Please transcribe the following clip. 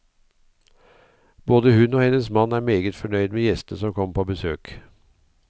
Både hun og hennes mann er meget fornøyd med gjestene som kommer på besøk.